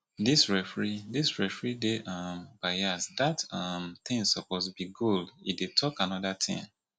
dis referee dis referee dey um bias dat um thing suppose to be goal e dey talk another thing